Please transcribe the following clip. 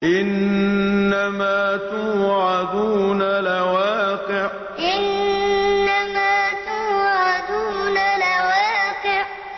إِنَّمَا تُوعَدُونَ لَوَاقِعٌ إِنَّمَا تُوعَدُونَ لَوَاقِعٌ